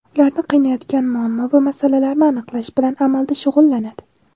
ularni qiynayotgan muammo va masalalarni aniqlash bilan amalda shug‘ullanadi;.